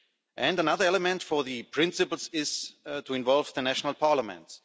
And another element for these principles is to involve the national parliaments.